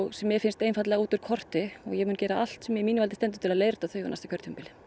sem mér finnst einfaldlega út úr korti og ég mun gera allt sem í mínu valdi stendur til að leiðrétta þau á næsta kjörtímabili